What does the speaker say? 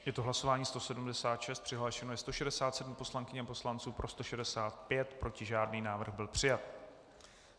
Je to hlasování 176, přihlášeno je 167 poslankyň a poslanců, pro 165, proti žádný, návrh byl přijat.